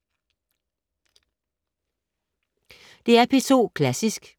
DR P2 Klassisk